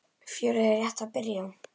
Fjörið er rétt að byrja.